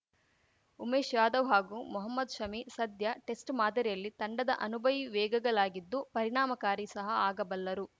ಉಮೇಶ್‌ ಯಾದವ್‌ ಹಾಗೂ ಮೊಹಮದ್‌ ಶಮಿ ಸದ್ಯ ಟೆಸ್ಟ್‌ ಮಾದರಿಯಲ್ಲಿ ತಂಡದ ಅನುಭವಿ ವೇಗಗಲಾಗಿದ್ದು ಪರಿಣಾಮಕಾರಿ ಸಹ ಆಗಬಲ್ಲರು